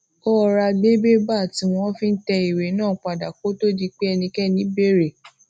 ó rọra gbé bébà tí wón fi ń tẹ ìwé náà pa dà kó tó di pé ẹnikéni béèrè